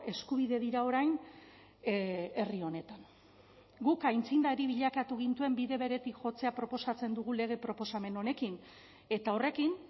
eskubide dira orain herri honetan guk aitzindari bilakatu gintuen bide beretik jotzea proposatzen dugu lege proposamen honekin eta horrekin